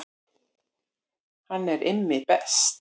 Hann er Immi best